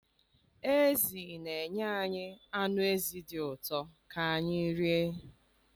Ezi na-enye anyị anụ ezi dị ụtọ ka anyị rie.